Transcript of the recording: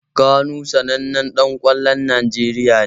Kanu sanannen ɗan ƙwallon Najeriya ne.